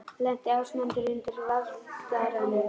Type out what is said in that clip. Lenti Ásmundur undir Valtaranum?